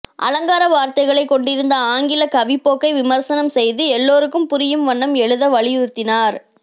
அலங்கார வார்த்தைகளைக் கொண்டிருந்த ஆங்கில கவிப்போக்கை விமர்சனம் செய்து எல்லாருக்கும் புரியும் வண்ணம் எழுத வலியுறுத்தினார்